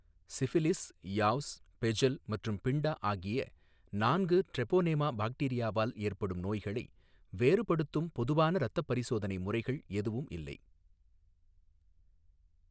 Syphilis, yaws, bejel மற்றும் pinta ஆகிய நான்கு ட்ரெபோனேமா பாக்டீரியாவால் ஏற்படும் நோய்களை வேறுபடுத்தும் பொதுவான இரத்த பரிசோதனை முறைகள் எதுவும் இல்லை.